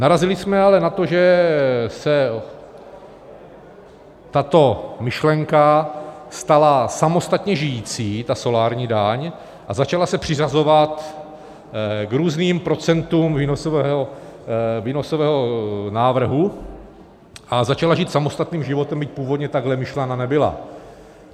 Narazili jsme ale na to, že se tato myšlenka stala samostatně žijící, ta solární daň, a začala se přiřazovat k různým procentům výnosového návrhu a začala žít samostatným životem, byť původně takhle myšlena nebyla.